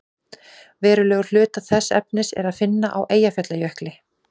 verulegan hluta þess efnis er að finna á eyjafjallajökli